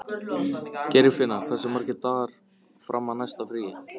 Geirfinna, hversu margir dagar fram að næsta fríi?